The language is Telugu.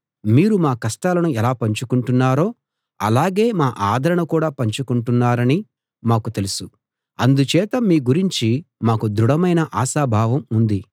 మీరు మా కష్టాలను ఎలా పంచుకుంటున్నారో అలాగే మా ఆదరణ కూడా పంచుకుంటున్నారని మాకు తెలుసు అందుచేత మీ గురించి మాకు దృఢమైన ఆశాభావం ఉంది